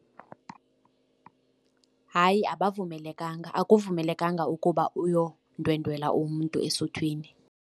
Hayi, abavumelekanga akuvumelekanga ukuba uyokundwendwela umntu esuthwini.